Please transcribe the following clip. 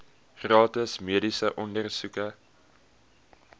gratis mediese ondersoeke